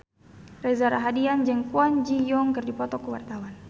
Reza Rahardian jeung Kwon Ji Yong keur dipoto ku wartawan